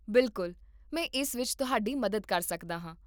ਬਿਲਕੁਲ, ਮੈਂ ਇਸ ਵਿੱਚ ਤੁਹਾਡੀ ਮਦਦ ਕਰ ਸਕਦਾ ਹਾਂ